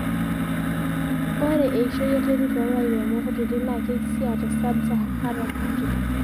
ore eishoi enterit too lairemok kutitik naa keisiia te sab saharan Africa